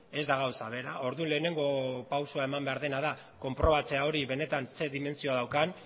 ez da gauza bera orduan lehenengo pausua eman behar dena da konprobatzea hori benetan zer dimentsio daukan